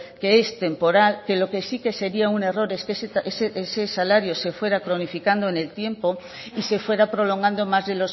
que es temporal que lo que sí sería un error es que ese salario se fuera cronificando en el tiempo y se fuera prolongando más de